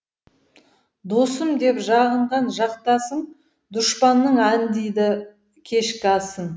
досым деп жағынған жақтасың дұшпанның аңдиды кешкі асын